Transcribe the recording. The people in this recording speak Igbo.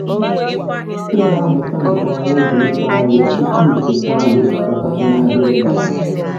Ị ga-amụta nke oma oge ifo ahịhịa tupu I keta ala osikapa si n’ahịrị Baba.